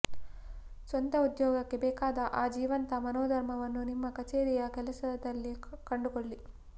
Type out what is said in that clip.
ಸ್ವಂತ ಉದ್ಯೋಗಕ್ಕೆ ಬೇಕಾದ ಆ ಜೀವಂತ ಮನೋಧರ್ಮವನ್ನು ನಿಮ್ಮ ಕಚೇರಿಯ ಕೆಲಸದಲ್ಲಿ ಕಂಡುಕೊಳ್ಳಿ